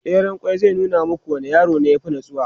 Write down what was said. tseren ƙwai zai nuna muku wanne yaro ya fi natsuwa